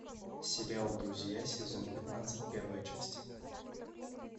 сериал друзья сезон пятнадцать первая часть